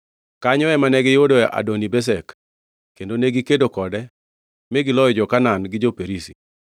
Kanyo ema ne giyudoe Adoni-Bezek kendo negikedo kode, mi giloyo jo-Kanaan gi jo-Perizi.